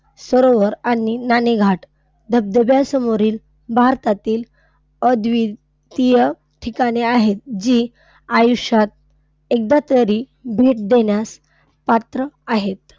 सरोवर आणि नाणेघाट धबधब्यासमोरील भारतातील अद्वितीय ठिकाणे आहेत जी आयुष्यात एकदा तरी भेट देण्यास पात्र आहेत.